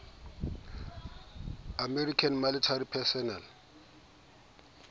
american military personnel